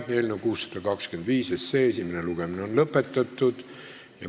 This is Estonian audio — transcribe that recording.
Eelnõu 625 esimene lugemine on lõpetatud.